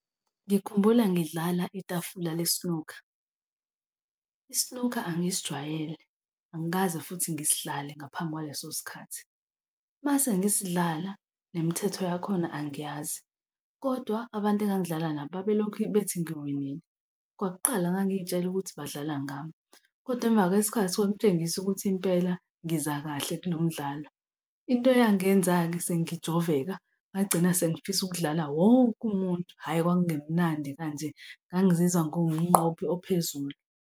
Ngikhumbula ngidlala itafula le-snooker. I-snooker angisijwayele, angikaze futhi ngisidlale ngaphambi kwalesosikhathi. Uma sengisidlala nemithetho yakhona angiyazi, kodwa abantu engangidlala nabo babelokhu bethi ngiwinile. Kwakuqala ngangiyitshela ukuthi badlala ngami kodwa emva kwesikhathi kwakutshengisa ukuthi impela ngiza kahle kulomdlalo. Into eyangenza-ke sengijoveka ngagcina sengifisa ukudlala wonke umuntu. Hhayi, kwakungemnandi kanje, ngangazizwa ngiwumqobi ophezulu.